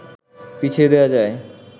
পিছিয়ে দেয়া যায়